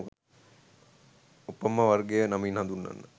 ඕපම්ම වර්ගය නමින් හඳුන්වනවා